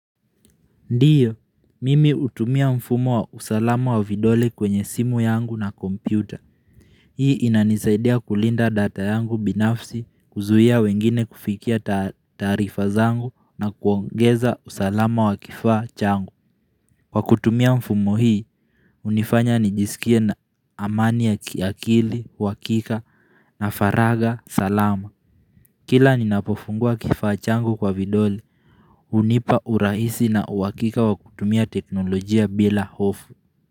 Ndio, mimi hutumia mfumo wa usalama wa vidole kwenye simu yangu na kompyuta Hii inanisaidia kulinda data yangu binafsi kuzuia wengine kufikia taarifa zangu na kuongeza usalama wa kifaa changu. Kwa kutumia mfumo hii, hunifanya nijisikie na amani ya kiakili uhakika na faragha salama Kila ninapofungua kifaa changu kwa vidole hunipa urahisi na uhakika wa kutumia teknolojia bila hofu.